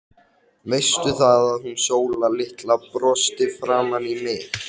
Þetta voru þjófar, Ragga, það er alveg á hreinu.